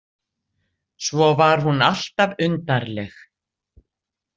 Svo var hún alltaf undarleg.